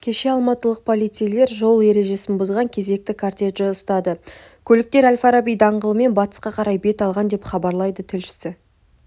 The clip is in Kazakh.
кеше алматылық полицейлер жол ережесін бұзған кезекті кортежді ұстады көліктер әл-фараби даңғылымен батысқа қарай бет алған деп хабарлайды тілшісі